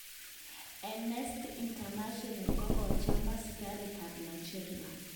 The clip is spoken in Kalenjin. Annesty International kokacham asikarik kap Nigeria .